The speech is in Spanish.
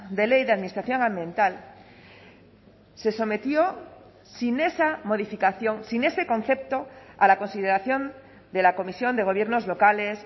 de ley de administración ambiental se sometió sin esa modificación sin ese concepto a la consideración de la comisión de gobiernos locales